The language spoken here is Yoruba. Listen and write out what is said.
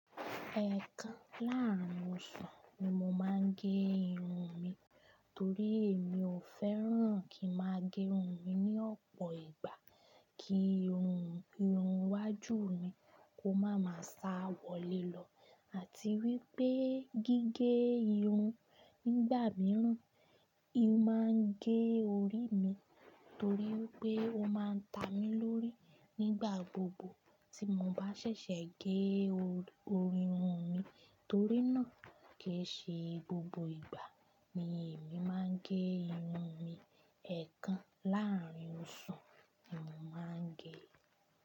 Ẹ̀kan láàárín oṣù ni mo máa ń gé irun mi. Torí èmi ò fẹ́ràn kí ń máa gé irun mi ní ọ̀pọ̀ ìgbà kí irun iwájú mi kó máa ma sá wọlé lọ àti wípé gígé irun nígbà mìíràn, ì máa ń gé orí mi torí pé ó máa ń ta mi lórí nígbà gbogbo tí mo bá ṣẹ̀ṣẹ̀ gé orí irun mi. Torí náà, kì í ṣe gbogbo ìgbà ni èmi máa ń gé irun mi. Ẹ̀kan láàrín oṣù ni mo máa ń gé.